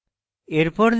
এরপর লিখুন